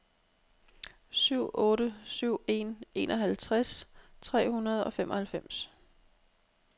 syv otte syv en enoghalvtreds tre hundrede og femoghalvfems